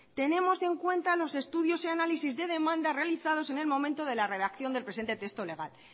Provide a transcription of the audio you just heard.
tenemos en cuenta los estudios y análisis de demanda realizados en el momento de la redacción del presente texto legal